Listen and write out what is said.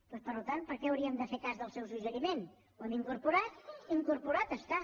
doncs per tant per què hauríem de fer cas del seu suggeriment ho hem incorporat incorporat està